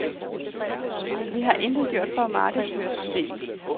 Vi har intet gjort for at markedsføre systemet.